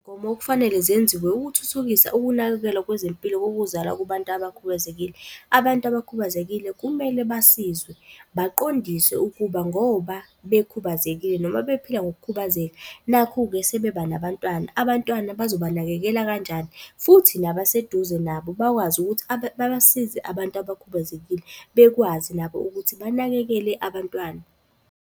Mgomo okufanele zenziwe ukuthuthukisa ukunakekelwa kwezempilo kokuzala kubantu abakhubazekile. Abantu abakhubazekile kumele basizwe, baqondiswe ukuba ngoba bekhubazekile noma bephila ngokukhubazeka, nakhu-ke sebeba nabantwana abantwana bazobanakekela kanjani. Futhi nabaseduze nabo bakwazi ukuthi babasize abantu abakhubazekile bekwazi nabo ukuthi banakekele abantwana.